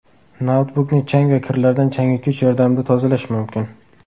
Noutbukni chang va kirlardan changyutgich yordamida tozalash mumkin.